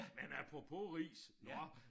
Men apropos ris nåh